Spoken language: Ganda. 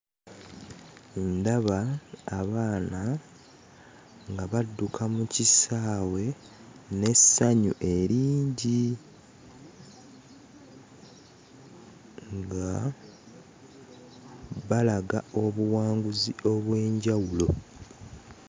Ndaba abaana nga badduka mu kisaawe n'essanyu eringi nga balaga obuwanguzi obw'enjawulo.